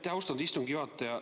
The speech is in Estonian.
Aitäh, austatud istungi juhataja!